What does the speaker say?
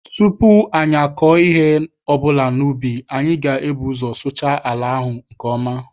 Tupu anyị akọọ ihe ọbụla n'ubi, anyị ga- ebu ụzọ sụchaa ala ahụ nke ọma.